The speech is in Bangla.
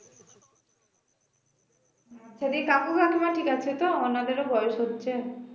সেদিক কাকু কাকিমা ঠিক আছে তো ওনাদের ও বয়স হচ্ছে